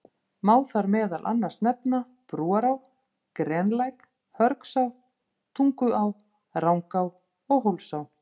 Má þar meðal annars nefna Brúará, Grenlæk, Hörgsá, Tunguá, Rangá og Hólsá.